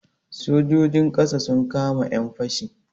Sojojin ƙasa sun kama 'yan fashi.